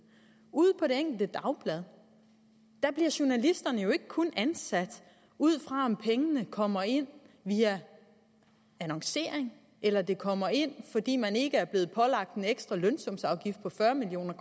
ude på det enkelte dagblad bliver journalisterne jo ikke kun ansat ud fra om pengene kommer ind via annoncering eller de kommer ind fordi man ikke er blevet pålagt en ekstra lønsumsafgift på fyrre million